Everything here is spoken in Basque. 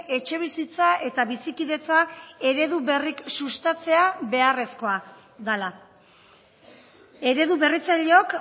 etxebizitza eta bizikidetza eredu berrik sustatzea beharrezkoa dela eredu berritzaileok